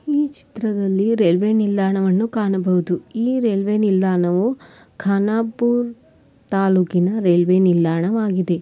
ಈ ಚಿತ್ರದಲಿ ರೈಲ್ವೆ ನಿಲ್ದಾಣವನು ಕಾಣಬಹುದು ಇಲ್ಲಿ ಈ ರೈಲ್ವೆ ನಿಲ್ದಾಣವು ಖಾನಾಪುರ ತಾಲ್ಲೂಕಿನ ರೈಲ್ವೆ ನಿಲ್ದಾಣವಾಗಿದೆ.